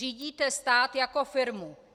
Řídíte stát jako firmu.